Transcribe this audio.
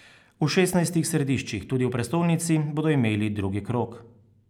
V šestnajstih središčih, tudi v prestolnici, bodo imeli drugi krog.